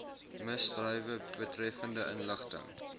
misdrywe betreffende inligting